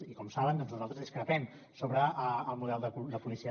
i com saben doncs nosaltres discrepem sobre el model de policia